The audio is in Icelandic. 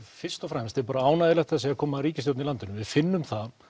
fyrst og fremst er ánægjulegt að það sé að koma ríkisstjórn í landinu við finnum það